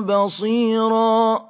بَصِيرًا